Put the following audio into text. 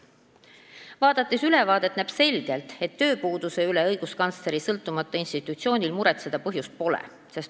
Ülevaadet lugedes näeb selgelt, et tööpuuduse üle õiguskantsleri sõltumatul institutsioonil muretseda põhjust pole.